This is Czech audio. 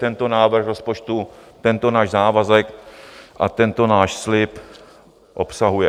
Tento návrh rozpočtu tento náš závazek a tento náš slib obsahuje.